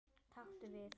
Taktu við.